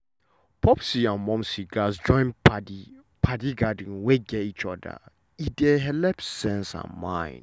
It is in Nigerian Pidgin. popsi and momsi gatz join padi padi gathering wey gat each other e dey helep sense and mind.